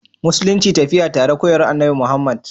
Musulunci tafiya tare koyarwa Annabi Muhammad